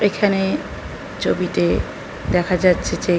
এখানে ছবিতে দেখা যাচ্ছে যে --